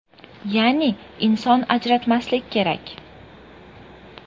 Ya’ni, inson ajratmaslik kerak.